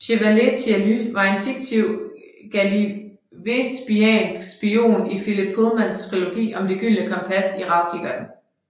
Chevalier Tialys er en fiktiv gallivespiansk spion i Philip Pullmans trilogi om Det gyldne kompas i bogen Ravkikkerten